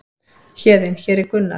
Héðinn: Hér er Gunnar.